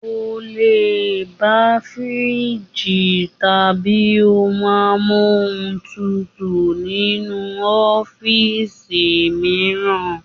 Ẹ lè bá fíríìgì tàbí ohun amóhúntutù nínú ọ́fíìsì mìíràn.